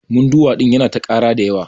Munduwa ɗin Yana ta ƙara da yawa.